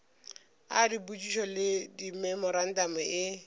a dipotšišo le dimemorantamo e